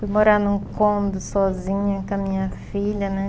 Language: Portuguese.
Fui morar num cômodo sozinha com a minha filha, né?